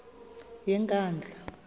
yenkandla